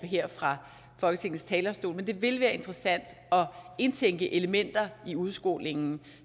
her fra folketingets talerstol men det vil være interessant at indtænke elementer i udskolingen